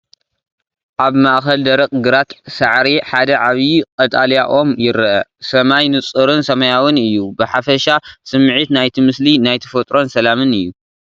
ኣብ ማእከል ደረቕ ግራት ሳዕሪ ሓደ ዓብይ ቀጠልያ ኦም ይርአ። ሰማይ ንጹርን ሰማያውን እዩ። ብሓፈሻ ስሚዒት ናይቲ ምስሊ ናይ ተፈጥሮን ሰላምን እዩ።